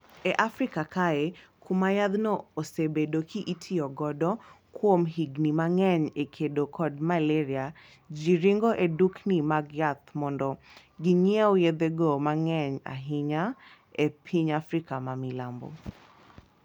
E Africa kaye kuma yathno osebedo ki itiyo godo kuom higni mang'eny e kedo kod maleria ji ringo e dukni mag yath mondo ginyiew yethego mang'eny ahinya ahinya e piny Afrika ma milambo.